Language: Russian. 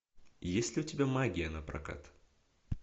есть ли у тебя магия напрокат